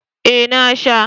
Ee na sha.